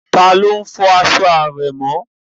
Taló n fọ aṣọ àrẹ̀mọ?